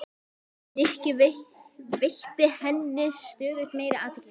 Nikki, veitti henni stöðugt meiri athygli.